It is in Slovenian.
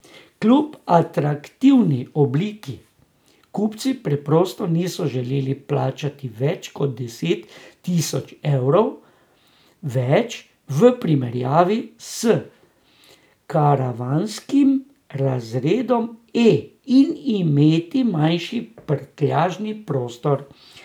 Kljub atraktivni obliki kupci preprosto niso želeli plačati več kot deset tisoč evrov več v primerjavi s karavanskim razredom E in imeti manjši prtljažni prostor.